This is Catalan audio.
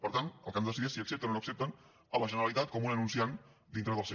per tant el que han de decidir és si accepten o no accepten la generalitat com un anunciant dintre del seu